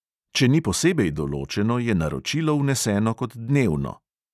Če ni posebej določeno, je naročilo vneseno kot dnevno.